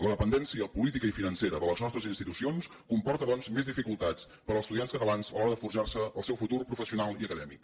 la dependència política i financera de les nostres institucions comporta doncs més dificultats per als estudiants catalans a l’hora de forjar se el seu futur professional i acadèmic